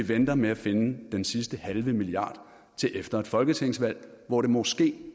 venter med at finde den sidste halve milliard til efter et folketingsvalg hvor det måske